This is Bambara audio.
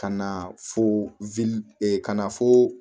Ka na fo ka na fo